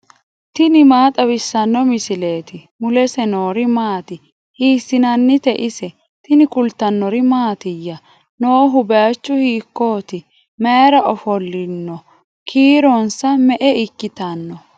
tini maa xawissanno misileeti ? mulese noori maati ? hiissinannite ise ? tini kultannori mattiya? Noohu bayiichchu hiikkotti? mayiira ofolinno? Kiironsa me'e ikkanno?